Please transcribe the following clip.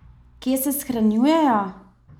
Kje se shranjujejo?